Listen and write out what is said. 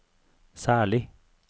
særlig